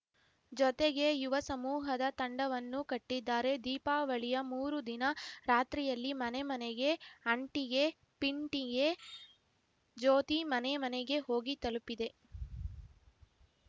ಜೊತೆಗೆ ಯುವಸಮೂಹದ ತಂಡವನ್ನು ಕಟ್ಟಿದ್ದಾರೆ ದೀಪಾವಳಿಯ ಮೂರು ದಿನ ರಾತ್ರಿಯಲ್ಲಿ ಮನೆಮನೆಗೆ ಅಂಟಿಗೆ ಪಿಂಟಿಗೆ ಜ್ಯೋತಿ ಮನೆ ಮನೆಗೆ ಹೋಗಿ ತಲುಪಿದೆ